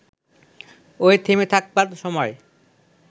ওই থেমে থাকবার সময়